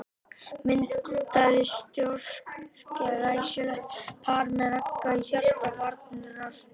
Myndaði stórglæsilegt par með Ragga í hjarta varnarinnar.